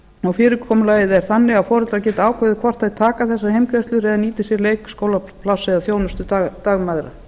mánuði fyrirkomulagið er þannig að foreldrar geta ákveðið hvor þeir taka þessar heimgreiðslur eða nýti sér leikskólapláss eða þjónustu dagmæðra